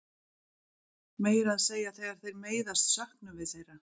Meira að segja þegar þeir meiðast söknum við þeirra.